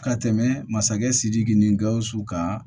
Ka tɛmɛ masakɛ sidiki ni gawusu ka